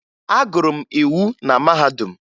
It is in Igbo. Agụrụ m iwu na mahadum